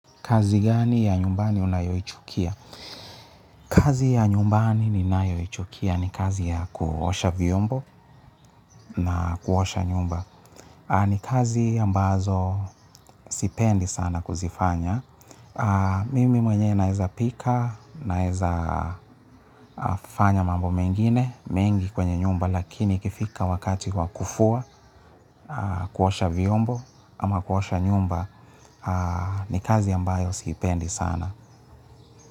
Kazi gani ya nyumbani unayoichukia. Kazi ya nyumbani ninayoichukia ni kazi ya kuosha vyombo na kuosha nyumba. Ni kazi ambazo sipendi sana kuzifanya. Mimi mwenyewe naweza pika, naweza fanya mambo mengine mengi kwenye nyumba, lakini ikifika wakati kwa kufua, kuosha vyombo, ama kuosha nyumba ni kazi ambayo siipendi sana.